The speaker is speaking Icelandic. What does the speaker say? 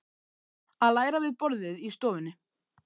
Að læra við borðið í stofunni.